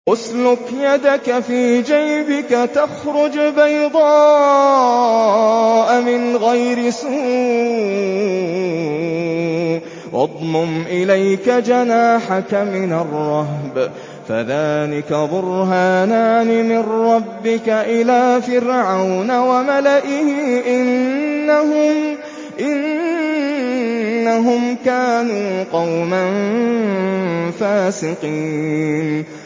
اسْلُكْ يَدَكَ فِي جَيْبِكَ تَخْرُجْ بَيْضَاءَ مِنْ غَيْرِ سُوءٍ وَاضْمُمْ إِلَيْكَ جَنَاحَكَ مِنَ الرَّهْبِ ۖ فَذَانِكَ بُرْهَانَانِ مِن رَّبِّكَ إِلَىٰ فِرْعَوْنَ وَمَلَئِهِ ۚ إِنَّهُمْ كَانُوا قَوْمًا فَاسِقِينَ